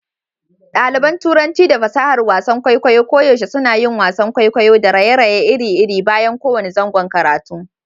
Ɗaliban Turanci da fasahar wasan kwaikwayo koyaushe suna yin wasan kwaikwayo da raye-raye iri-iri bayan kowane zangon karatu.